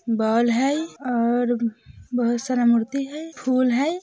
बोल हय और बहुत सारा मूर्ति हई फूल हई।